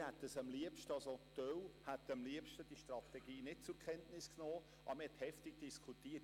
Wir hätten die Strategie am liebsten nicht zur Kenntnis genommen, jedenfalls ein Teil von uns.